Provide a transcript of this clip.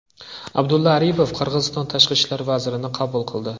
Abdulla Aripov Qirg‘iziston tashqi ishlar vazirini qabul qildi.